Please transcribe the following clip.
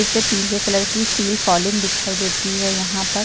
इसपे पीले कलर की सील फॉलिंग दिखाई देती है। यहाँ पर --